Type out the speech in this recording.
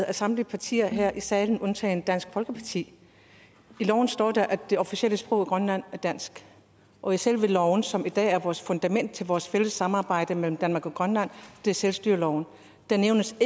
af samtlige partier her i salen undtagen dansk folkeparti i loven står der at det officielle sprog i grønland er dansk og i selve loven som i dag er vores fundament til vores fælles samarbejde mellem danmark og grønland det er selvstyreloven nævnes